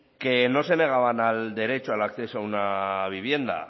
que no se negaban al derecho al acceso a una vivienda